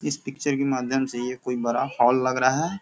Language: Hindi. इस पिक्चर के माध्यम से ये कोई बड़ा हॉल लग रहा है।